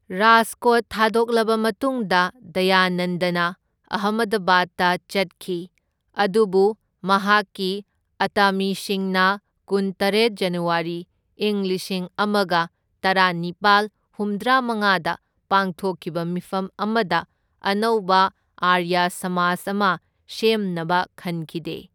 ꯔꯥꯖꯀꯣꯠ ꯊꯥꯗꯣꯛꯂꯕ ꯃꯇꯨꯡꯗ ꯗꯌꯥꯅꯟꯗꯅ ꯑꯍꯃꯗꯕꯥꯗꯇ ꯆꯠꯈꯤ, ꯑꯗꯨꯕꯨ ꯃꯍꯥꯛꯀꯤ ꯑꯇꯥꯃꯤꯁꯤꯡꯅ ꯀꯨꯟꯇꯔꯦꯠ ꯖꯅꯋꯥꯔꯤ, ꯢꯪ ꯂꯤꯁꯤꯡ ꯑꯃꯒ ꯇꯔꯥꯅꯤꯄꯥꯜ ꯍꯨꯝꯗ꯭ꯔꯥꯃꯉꯥꯗ ꯄꯥꯡꯊꯣꯛꯈꯤꯕ ꯃꯤꯐꯝ ꯑꯃꯗ ꯑꯅꯧꯕ ꯑꯥꯔꯌꯥ ꯁꯃꯥꯖ ꯑꯃ ꯁꯦꯝꯅꯕ ꯈꯟꯈꯤꯗꯦ꯫